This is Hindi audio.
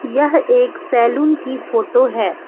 यह एक सैलून की फोटो है।